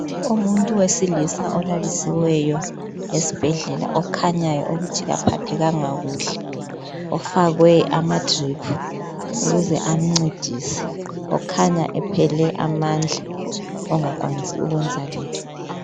Umuntu wesilisa olalisiweyo esibhledlela okhanyayo ukuthi kaphathekanga kuhle ufakwe amadrip ukuze amncedise okhanya ephele amandla ongakwanisi ukwenza lutho